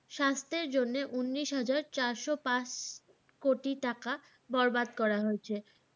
স্বাস্থ্যের জন্য উন্নিশ হাজার চারশ পাঁচ কোটি টাকা বরবাদ করা হয়েছে।